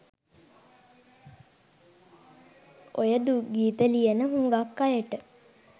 ඔය දුක් ගීත ලියන හුඟක් අයට